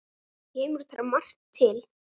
Kemur þar margt til.